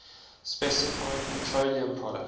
specifying petroleum products